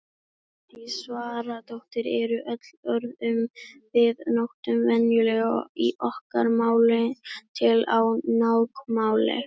Svandís Svavarsdóttir Eru öll orð sem við notum venjulega í okkar máli til á táknmáli?